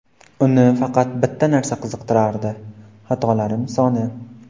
Uni faqat bitta narsa qiziqtirardi – xatolarim soni.